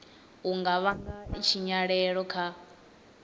u nga vhanga tshinyalelo kha